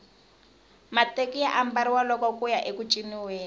mateki ya ambariwa loko kuya eku ciniweni